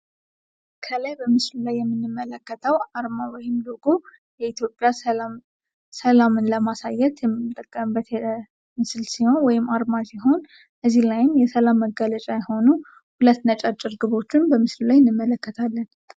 ከላይ በምስሉ ላይ የምንመለከተው አርማ ወይም ሎጎ የኢትዮጵያ ሰላምን ለማሳየት የምንጠቀምበት ምስል ወይም አርማ ሲሆን እዚህ ላይም የሰላም መገለጫ የሆኑ ሁለት ነጫጭ እርግቦችን በምስሉ ላይ እንመለከታለን ።